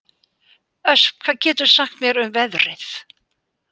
Ösp, hvað geturðu sagt mér um veðrið?